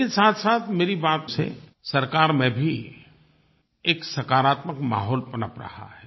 लेकिन साथसाथ मेरी बात को सरकार में भी एक सकारात्मक माहौल पनप रहा है